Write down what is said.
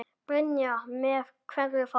Brynja: Með hverju þá?